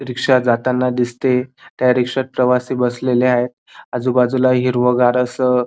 रिक्षा जाताना दिसतीय त्या रिक्शात प्रवासी बसलेले आहेत आजूबाजूला हिरवगार अस--